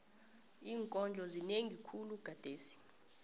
iinkondlo zinengi khulu gadesi